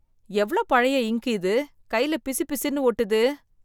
எவ்ளோ பழைய இங்க்கு இது! கையில பிசுபிசுன்னு ஒட்டுது!